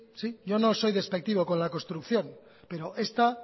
sí yo no soy despectivo con la construcción pero esta